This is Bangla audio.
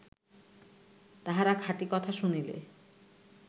তাহারা খাঁটি কথা শুনিলে